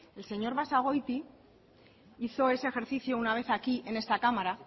el señor basagoiti hizo ese ejercicio una vez aquí en esta cámara